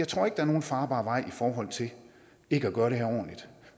tror det er nogen farbar vej ikke at gøre det her ordentligt